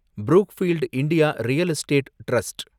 Brookfield India real estate trust